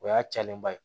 O y'a cayalenba ye